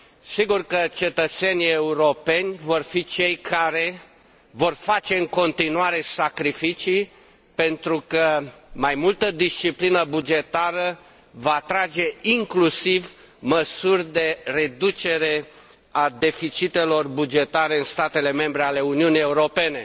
Sigur că cetățenii europeni vor fi cei care vor face în continuare sacrificii, pentru că mai multă disciplină bugetară va atrage inclusiv măsuri de reducere a deficitelor bugetare în statele membre ale Uniunii Europene.